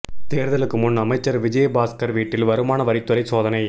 தேர்தலுக்கு முன் அமைச்சர் விஜயபாஸ்கர் வீட்டில் வருமான வரித் துறை சோதனை